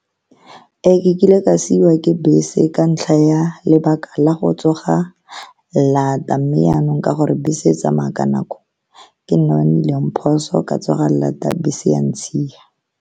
Ee, ke kile ka siiwa ke bese ka ntlha ya lebaka la go tsoga laat-a. Mme, yanong ka gore bese e tsamaya ka nako, ke nna ke nnileng phoso ka go tsoga laat-a, bese ya ntshiya.